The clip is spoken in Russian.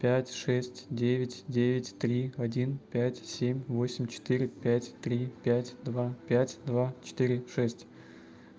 пять шесть девять девять три один пять семь восемь четыре пять три пять два пять два четыре шесть